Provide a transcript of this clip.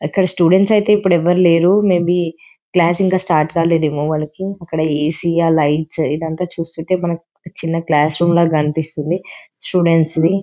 అక్కడ స్టూడెంట్స్ ఐతే ఇప్పుడు ఎవరు లేరు మేబి క్లాస్ ఇంకా స్టార్ట్ కాలేదేమో వాళ్ళకి అక్కడ ఏసీ ఆ లైట్స్ ఇదంతా చూస్తుంటే మనక్ చిన్న క్లాస్ రూమ్ ల కనిపిస్తుంది స్టూడెంట్స్ది .